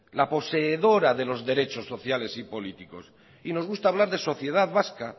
la poseedora de los derechos sociales y políticos y nos gusta hablar de sociedad vasca